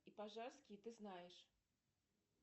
и пожарский ты знаешь